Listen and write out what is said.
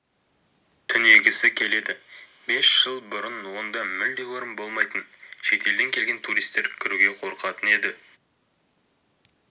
түнегісі келеді бес жыл бұрын онда мүлде орын болмайтын шетелден келген туристер кіруге қорқатын еді